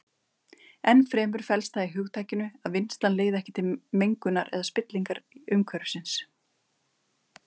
Ennfremur felst það í hugtakinu að vinnslan leiði ekki til mengunar eða spillingar umhverfisins.